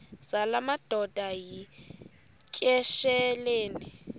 zala madoda yityesheleni